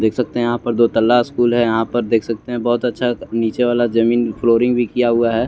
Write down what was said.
देख सकते हे आप तलास दो स्कूल हे यहा पर देख सकते हे बोत अच्छा जमीन क्लोरिंग भी किया हुआ हैं।